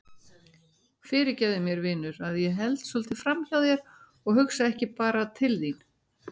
Fyrirgefðu mér vinur að ég held svolítið framhjá þér og hugsa ekki bara til þín.